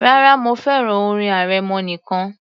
Rárá, mo fẹ́ràn orin arẹmọ nìkan